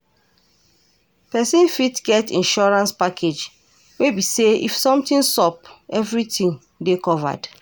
Person fot get insurance package wey be sey if something sup, everything dey covered